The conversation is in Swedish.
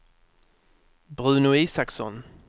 Bruno Isaksson